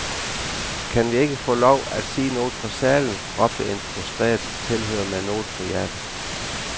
Kan vi ikke få lov at sige noget fra salen, råbte en frustrere tilhører med noget på hjerte.